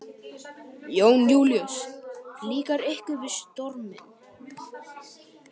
Jón Júlíus: Líkar ykkur við storminn?